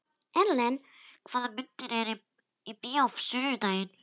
Erlen, hvaða myndir eru í bíó á sunnudaginn?